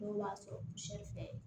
N'o man sɔrɔ fɛ